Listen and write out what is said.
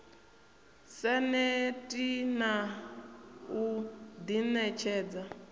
sa neti na u ḓiṋetshedza